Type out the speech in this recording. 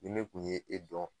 Ni ne kun ye e dɔn